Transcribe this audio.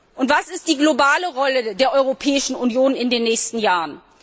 Und was ist die globale Rolle der Europäischen Union in den nächsten Jahren?